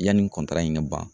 Yanni in ka ban